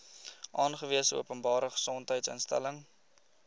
aangewese openbare gesondheidsinstelling